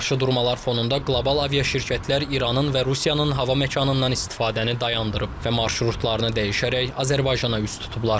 Bu qarşıdurmalar fonunda qlobal aviaşirkətlər İranın və Rusiyanın hava məkanından istifadəni dayandırıb və marşrutlarını dəyişərək Azərbaycana üz tutublar.